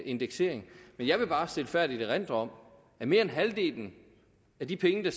indeksering men jeg vil bare stilfærdigt erindre at mere end halvdelen af de penge der